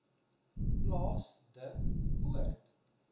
plaas de poort